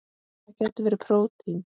Það gætu verið prótín.